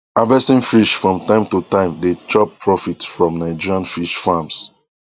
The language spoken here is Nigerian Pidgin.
harvesting fish from time to time dey chop profit from nigerian fish farms